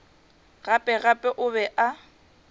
gape gape o be a